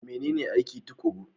Menene aiki tuƙuru?